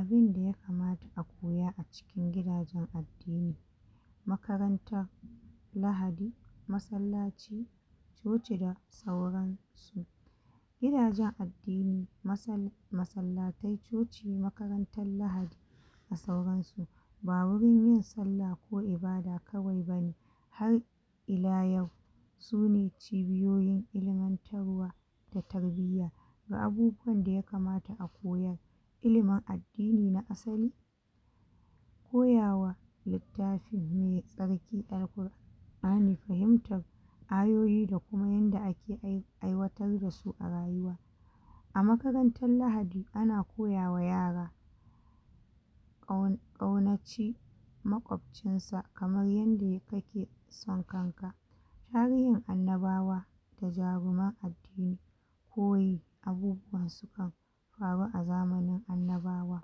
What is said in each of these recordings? Abinda yakamata a koya a cikin gidajan addini makaranta lahadi masallaci coci da sauransu gidajen addini masal masallatai coci makarantan lahadi da sauransu ba wurin yin sallah ko ibada kawai bane har ila yau sune cibiyoyin ilimantarwa da tarbiyya ga abubuwan da yakamata a koyar ilimin addini na asali koyawa littafin mai tsarki Al'Qurani fahimtar ayoyi da kuma yadda ake ai aiwatar dasu a rayuwa a makarantan lahadi ana koya wa yara ƙau ƙaunaci maƙwofcinsa kaman yadda kake son kanka tarihin annabawa da jaruman addini koyi abubuwansu kan faru a zamanin annabawa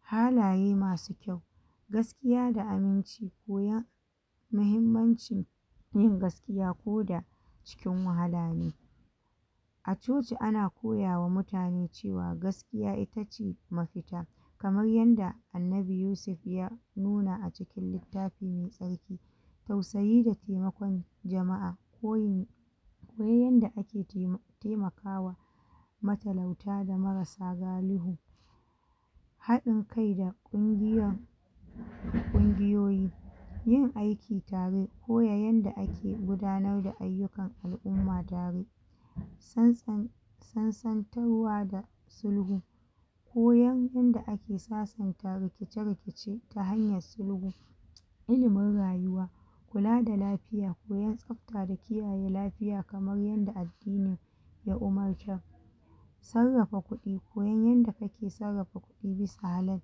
halaye masu kyau gaskiya da aminci koya mahimmancin yin gaskiya koda cikin wahala ne a coci ana koyama mutane cewa gaskiya itace mafita kaman yadda annabi Yusuf ya nuna acikin littafi mai tsarki tausayi da temakon jama'a koyi koyi yadda ake tema, temakawa matalauta da marasa galihu haɗin kai da ƙungiyan ƙungiyoyi yin aiki tare koya yanda ake guda nar da ayyuka al'umma santsan sansantarwa da sulhu koyan yadda ake sasan ta rikice rikice ta hanyan sulhu ilimin rayuwa kula da lafiya koyan tsafta da ki yaye lafiya kaman yadda addini ya umarta sarrafa kuɗi koyon yadda kake sarrafa kuɗi bisa halal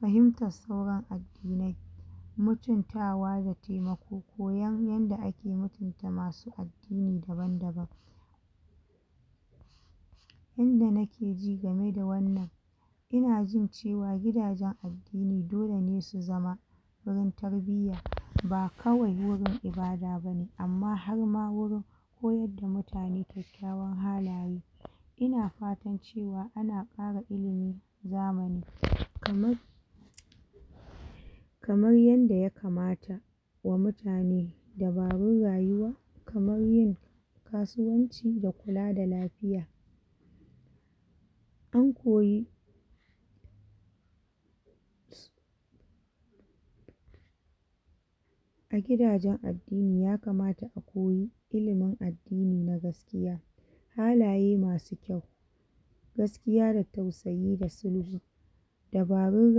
fahimtar sauran addinai mutuntawa da temako koyan yanda ake mutunta masu addini daban daban yanda nakeji game da wannan inajin cewa gidajen addini dolene su zama wurin tarbiya ba kawai wurin ibada bane amma har ma wurin koyar da mutane kyakyawan halaye ina fatan cewa ana kara ilimi zamani kaman kaman yadda yakamata wa mutane dabarun rayuwa kaman yin kasuwanci da kula da lafiya an koyi a gida jan addini yakamata akoyi ilimin addini na gaskiya halaye masu kyau gaskiya da tausayi da sulhu dabarun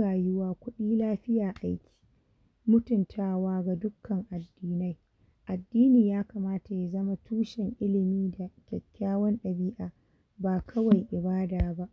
rayuwa kuɗi lafiya aiki mutun tawa ga dukkan addinai addini yakamata yazama tushen ilimi da kyakyawan ɗabi`a ba kawai ibada ba